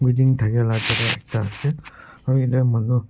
wedding thakia la jaka ekta ase aru ete manu.